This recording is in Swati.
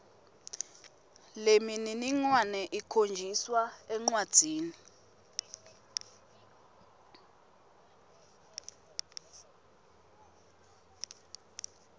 lemininingwane ikhonjiswa encwadzini